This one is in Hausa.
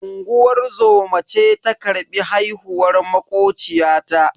Unguwar zoma ce ta karbi haihuwar makociyata.